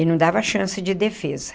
E não dava chance de defesa.